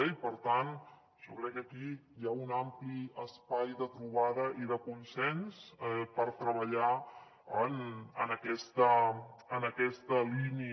i per tant jo crec que aquí hi ha un ampli espai de trobada i de consens per treballar en aquesta línia